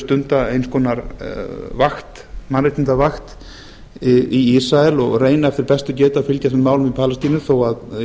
stunda eins konar mannréttindavakt í ísrael og reyna eftir bestu getu að fylgjast með málum í palestínu þó að